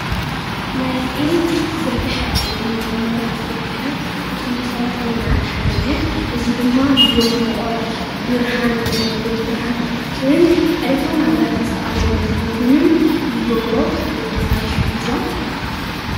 ናይ ኤሌክትሪክ ዝርገሐ ወይ ናይ መብራህቲ ዝርገሀ ካብቶም መሰረታዊ-ልምዓት ሓደ እዩ። እዚ ድማ ጉልበት ሙቀት ፣ብርሃን ወይ ድማ ጉልበት ብርሃን ንኸረከብን ዕለታዊ ናብራና ዝተቃለለ ንክከውንን ይገብሮ ወይ ድማ ይሕግዞም።